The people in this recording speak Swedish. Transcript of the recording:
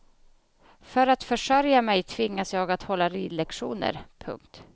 För att försörja mig tvingas jag att hålla ridlektioner. punkt